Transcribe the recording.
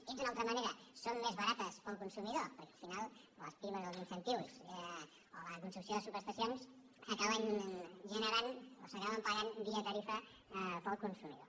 dit d’una altra manera són més barates per al consumidor perquè al final les primes i els incentius o la construcció de sub·estacions acaben generant o s’acaben pagant via tarifa per al consumidor